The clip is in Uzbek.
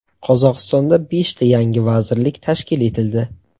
Qozog‘istonda beshta yangi vazirlik tashkil etildi.